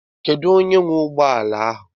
Kedụ onye nwee ụgbọala ahụ?